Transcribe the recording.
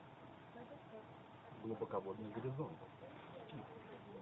глубоководный горизонт